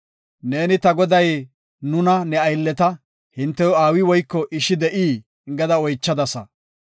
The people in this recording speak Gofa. Neeni ta goday nuna ne aylleta, ‘Hintew aawi woyko ishi de7ii?’ gada oychadasa.